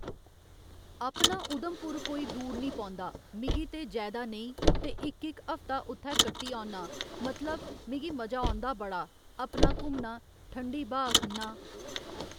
अपना उधमपुर कोई दूर निं पौंदा मिगी ते जैदा नेईं ते इक इक हफ्ता उत्थै कट्टी औना मतलब मिगी मजा औंदा बड़ा अपना घुमना ठंडी ब्हाऽ खन्ना